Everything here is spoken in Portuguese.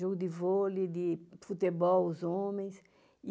Jogo de vôlei, de futebol, os homens.